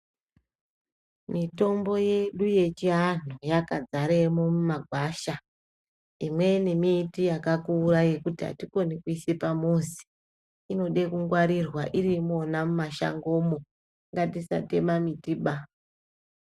Mitombo yedu yechiantu yaka zaremo mumagwasha. Imweni miti yakakura yekuti hatikoni kuiise pamuzi. Inode kungwarirwa iriimona muma shangomo, ngatisatema miti ba.